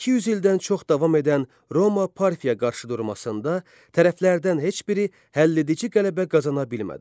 200 ildən çox davam edən Roma-Parfiya qarşıdurmasında tərəflərdən heç biri həlledici qələbə qazana bilmədi.